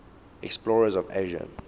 explorers of asia